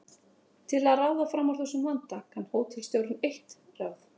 Til að ráða fram úr þessum vanda kann hótelstjórinn eitt ráð.